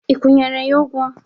Ị kwanyeru ya ugwu?